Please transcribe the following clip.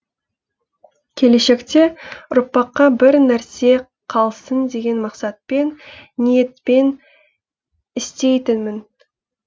келешекте ұрпаққа бір нәрсе қалсын деген мақсатпен ниетпен істейтінмін